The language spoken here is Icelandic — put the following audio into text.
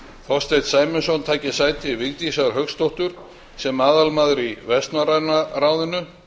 þorsteinn sæmundsson taki sæti vigdísar hauksdóttur sem aðalmaður í vestnorræna ráðinu